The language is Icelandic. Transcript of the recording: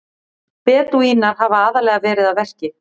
Bedúínar hafa aðallega verið að verki.